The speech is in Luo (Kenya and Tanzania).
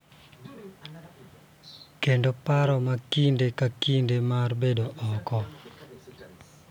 Kendo paro ma kinde ka kinde mar bedo oko